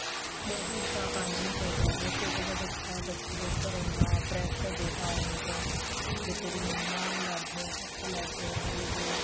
ਵੇਸੇ ਇਸ ਤਰਾਂ ਕਰਨਾ ਨੀ ਚਾਹੀਦਾ ਛੋਟਾ ਜਾ ਬੱਚਾ ਹੈ ਜਿਹਦੇ ਉੱਪਰ ਇੰਨਾ pressure ਦੇਤਾ ਹੁਣੀ ਤੋਂ ਵੀ ਤੇਰੀ ਮੰਮਾ ਲੜਦੇ ਆਂ ਪਾਪਾ ਲੜਦੇ ਆਂ ਇਹ ਵੋ